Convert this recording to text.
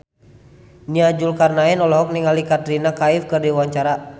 Nia Zulkarnaen olohok ningali Katrina Kaif keur diwawancara